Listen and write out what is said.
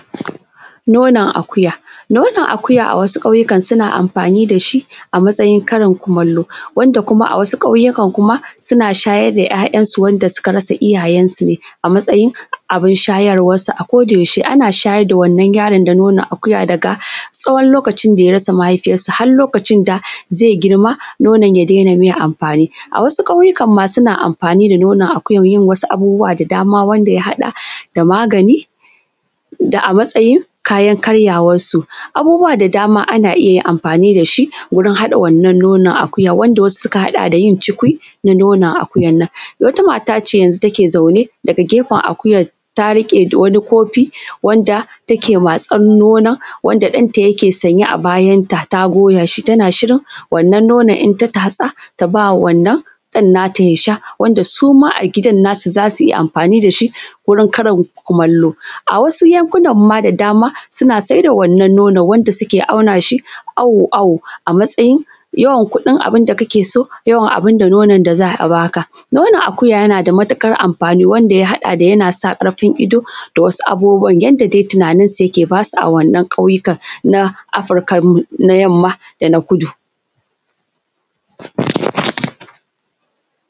Nonon akuya Nonon akuya, a wasu ƙauye, suna amfani da shi a matsayin karin kumalo. Wanda kuma, a wasu ƙauyukan, suna shayar da yaransu wanda suka rasa iyayensu, a matsayin abun shayarwansu. A kodayaushe, ana shayar da wannan yaron da nonon akuya, daga tsawon lokacin da ya rasa mahaifiyarsa, har lokacin da zai girma. Nonon akuya ya dena mai amfani. A wasu ƙauyukan ma, suna amfani da nonon akuya don yin wasu abubuwa da dama, wanda ya haɗa da: magani da a matsayin kayan karyawonsu abubuwa da dama, ana iya yin amfani da su gurin haɗa wannan nonon akuya wasu suna haɗa da yin cikiwa na nonon akuya. Wata mata ce, yanzu take zaune, daga gefen akuyan, ta riƙe da wani kofi, wanda take matsan nonon wanda ɗanta yake sanye a bayansa, ta goya shi. Tana shirin wannan nonon. In ta tatsa, ta ba wannan ɗan nata ya sha wanda suma a gidan nasu, za su iya amfani da shi gurin karin kumalo. A wasu yankunan ma da dama, suna sayar da wannan nonon. Wanda suke auna shi awo-awo, a matsayin yawan kuɗin abun da kake so, yawan nonon da za a ba ka. Nonon akuya yana da matuƙar amfani, wanda ya haɗa da: Yana sa ƙarfin ido da wasu abubuwa, yanda dai tunaninsu yake, ba su a wannan ƙauyukan na Afrikan na Yamma da na Kudu.